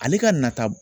Ale ka nata